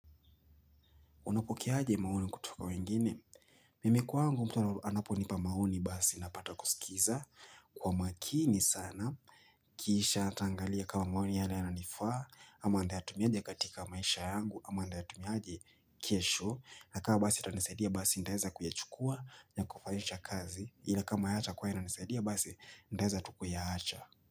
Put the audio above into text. Unapokeaje maoni kutoka wengine? Mimi kwangu mtu anaponipa maoni basi napata kusikiza kwa makini sana. Kisha nitaangalia kama maoni yale yanayonifaa, ama nitatumiaje katika maisha yangu, ama nitatumiaje kesho. Na kama basi utanisaidia basi nitaeza kuyachukua ya kufaisha kazi. Ile kama hayatakuwa yananisaidia basi nitaeza tu kuyaacha.